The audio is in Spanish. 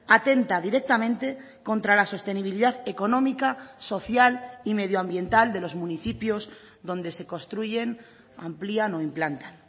atenta directamente contra la sostenibilidad económica social y medioambiental de los municipios donde se construyen amplían o implantan